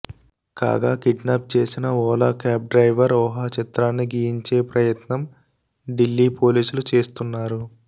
కాగా కిడ్నాప్ చేసిన Ola cab driver ఊహాచిత్రాన్ని గీయించే ప్రయత్నం ఢిల్లీ పోలీసులు చేస్తున్నారు